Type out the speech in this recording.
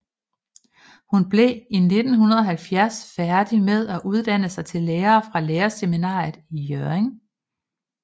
Hun blev i 1970 færdig med at uddanne sig til lærer fra lærerseminaret i Hjørring